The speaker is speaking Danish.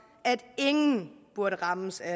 at ingen burde rammes af